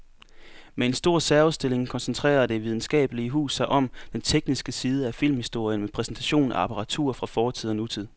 Med en stor særudstilling koncentrerer det videnskabelige hus sig om den tekniske side af filmhistorien med præsentation af apparatur fra fortid og nutid.